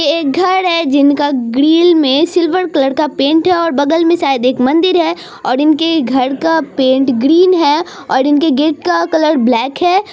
ये एक घर है जिनके ग्रील मे सिल्वर कलर का पैंट है और बगल मे शायद एक मंदिर है और इनके घर का पैंट ग्रीन है और इनके गेट का कलर ब्लाक है।